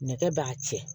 Nɛgɛ b'a cɛ